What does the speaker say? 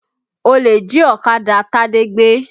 Olè jí ọ̀kadà Tade gbé